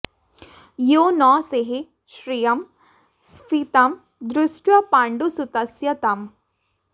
यो न सेहे श्रियं स्फीतां दृष्ट्वा पाण्डुसुतस्य ताम्